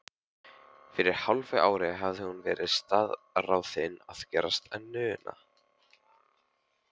Fyrir hálfu ári hafði hún verið staðráðin að gerast nunna.